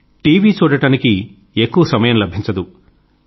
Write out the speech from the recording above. కానీ టీవీ చూడడానికి ఎక్కువ సమయం లభించదు